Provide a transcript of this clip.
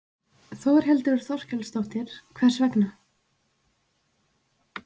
Þórhildur Þorkelsdóttir: Hvers vegna?